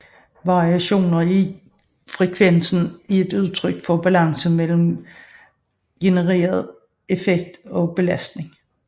Variationer i frekvensen er et udtryk for balancen mellem genereret effekt og belastningen